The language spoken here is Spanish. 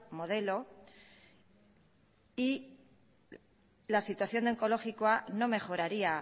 modelo y la situación de onkologikoa no mejoraría